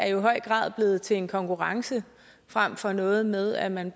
i høj grad er blevet til en konkurrence frem for noget med at man